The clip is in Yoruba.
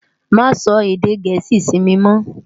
Má sò èdè Gẹẹsi si mi mò.